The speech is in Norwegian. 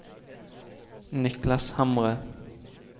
Niklas Hamre